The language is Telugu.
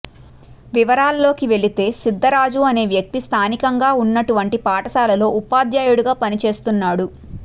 వివరాల్లోకి వెళితే సిద్ధ రాజు అనే వ్యక్తి స్థానికంగా ఉన్నటువంటి పాఠశాలలో ఉపాధ్యాయుడిగా పని చేస్తున్నాడు